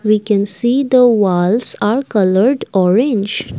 we can see the walls are coloured orange.